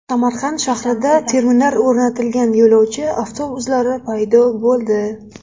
Samarqand shahrida terminal o‘rnatilgan yo‘lovchi avtobuslari paydo bo‘ldi.